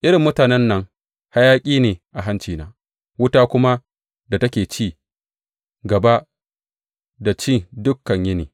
Irin mutanen nan hayaƙi ne a hancina, wuta kuma da take cin gaba da ci dukan yini.